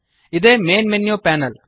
ಇದೇ main menu panel